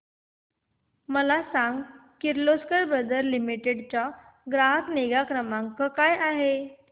मला सांग Kirloskar brother limited चा ग्राहक निगा क्रमांक काय आहे